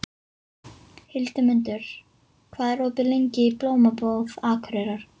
Hildimundur, hvað er opið lengi í Blómabúð Akureyrar?